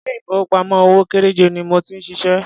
Ilé ìfowópamọ́ òwò kéréje ni mo ti ń ṣiṣẹ́.